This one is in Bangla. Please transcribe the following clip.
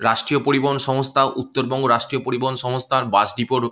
রাষ্ট্রীয় পরিবহন সংস্থা উত্তরবঙ্গ রাষ্ট্রীয় পরিবহন সংস্থার বাস ডিপো -র --